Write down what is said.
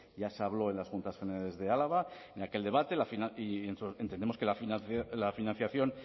ya se habló en las juntas generales de álava en aquel debate y entendemos que la financiación